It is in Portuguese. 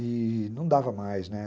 E não dava mais, né?